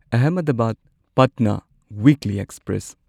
Ahmedabad Patna weekly express